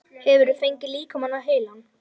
Hefurðu fengið líkamann á heilann?